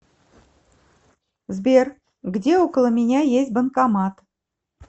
сбер где около меня есть банкомат